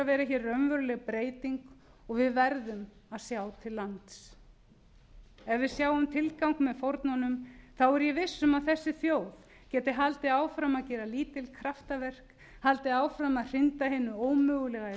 vera hér raunveruleg breyting og við verðum að sjá til lands ef við sjáum tilgang með fórnunum er ég viss um að þessi þjóð geti haldið áfram að gera lítil kraftaverk haldið áfram að hrinda hinu ómögulega í